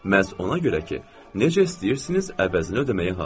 Məhz ona görə ki, necə istəyirsiniz əvəzinə ödəməyə hazıram.